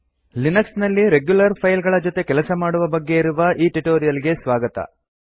Linux ನಲ್ಲಿ regular file ಗಳ ಜೊತೆ ಕೆಲಸ ಮಾಡುವ ಬಗ್ಗೆ ಇರುವ ಈ ಟ್ಯುಟೋರಿಯಲ್ ಗೆ ಸ್ವಾಗತ